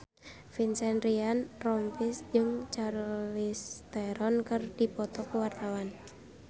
Vincent Ryan Rompies jeung Charlize Theron keur dipoto ku wartawan